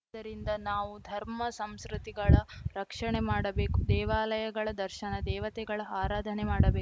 ಆದ್ದರಿಂದ ನಾವು ಧರ್ಮ ಸಂಸ್ರುತಿಗಳ ರಕ್ಷಣೆ ಮಾಡಬೇಕು ದೇವಾಲಯಗಳ ದರ್ಶನ ದೇವತೆಗಳ ಆರಾಧನೆ ಮಾಡಬೇಕು